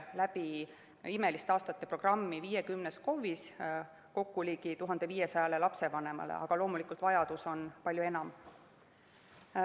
"Imeliste aastate" programmi viiakse läbi 50 KOV‑is kokku ligi 1500 lapsevanemale, aga loomulikult on vajadus palju suurem.